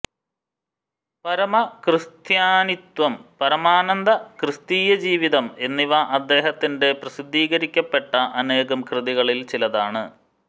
പരമക്രിസ്ത്യാനിത്വം പരമാനന്ദ ക്രിസ്തീയജീവിതം എന്നിവ അദ്ദേഹത്തിന്റെ പ്രസിദ്ധീകരിക്കപ്പെട്ട അനേകം കൃതികളിൽ ചിലതാണ്